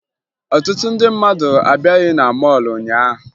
Ọtụtụ ndị mmadụ abịaghị na mọọlụ ụnyaahụ